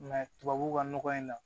tubabuw ka nɔgɔ in na